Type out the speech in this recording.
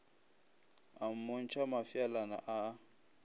a mmontšha mafeelana a a